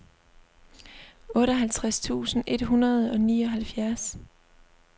otteoghalvfjerds tusind et hundrede og nioghalvfjerds